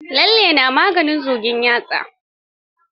Lalle na maganin zugin yatsa.